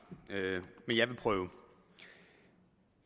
men jeg vil prøve